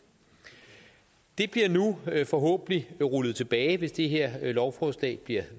det bliver nu forhåbentlig rullet tilbage hvis det her lovforslag bliver